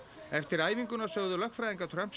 eftir æfinguna sögðu lögfræðingar Trumps